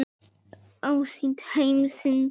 Ásýnd heimsins.